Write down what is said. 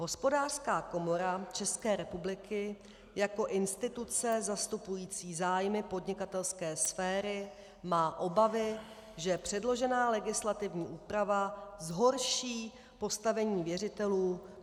Hospodářská komora České republiky jako instituce zastupující zájmy podnikatelské sféry má obavy, že předložená legislativní úprava zhorší postavení věřitelů...